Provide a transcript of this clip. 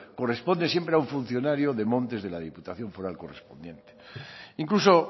corresponde siempre a un funcionario de montes de la diputación foral correspondiente incluso